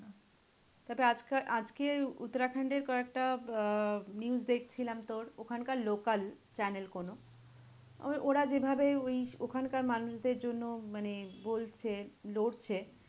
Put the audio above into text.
তবে আজকার আজকে উত্তরাখণ্ডের কয়েকটা আহ news দেখছিলাম। তোর ওখানকার local channel কোনো, ওই ওরা যেভাবে ওই ওখানকার মানুষদের জন্য মানে বলছে, লড়ছে